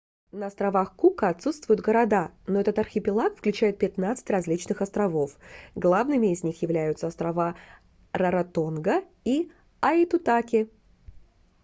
на островах кука отсутствуют города но этот архипелаг включает 15 различных островов главными из них являются острова раротонга и аитутаки